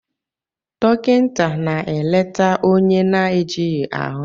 Dọkịta na-eleta onye na-ejighị ahụ